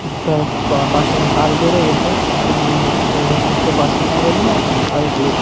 শিক্ষার pa~pass এর হার বেড়ে গেছে কিন্তু মানুষ ওইভাবে শিখতে পারছেনা জন্য আর কী